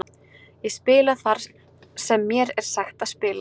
Ég spila þar sem mér er sagt að spila.